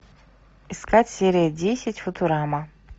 искать серия десять футурама